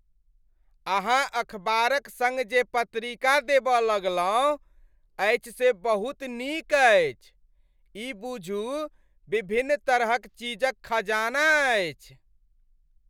अहाँ अखबारक सङ्ग जे पत्रिका देबऽ लगलहुँ अछि से बहुत नीक अछि। ई बुझू विभिन्न तरहक चीज क खजाना अछि।